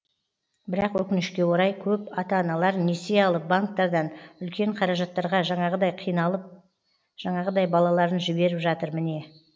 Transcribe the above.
бірақ өкінішке орай көп ата аналар несие алып банктардан үлкен қаражаттарға жаңағыдай қиналып жаңағыдай балаларын жіберіп жатыр міне